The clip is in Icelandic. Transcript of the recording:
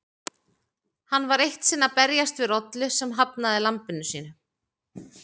Hann var eitt sinn að berjast við rollu sem hafnaði lambinu sínu.